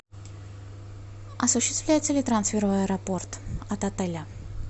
осуществляется ли трансфер в аэропорт от отеля